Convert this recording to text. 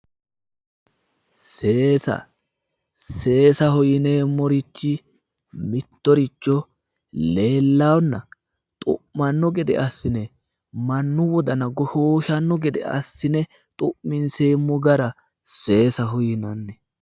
Seesa, seesaho yinneemmorichi mittoricho leellanonna xu'mano gede assine mannu wodana goshoshano gede assine xu'minseemmo gara seesaho yinonni